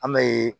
An bɛ